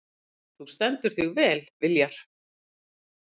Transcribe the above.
Þú stendur þig vel, Viljar!